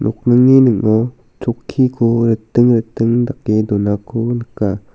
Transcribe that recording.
uni ning·o chokkiko riting riting dake donako nika.